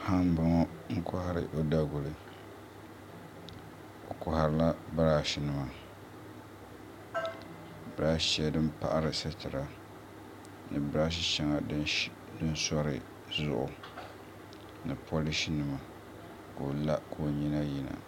Paɣa n boŋo n kohari o daguli o paɣarila birash nima birash shɛŋa din paɣari sitira ni birash shɛŋa din sori zuɣu ni polish nima ka o la ka o nyina yina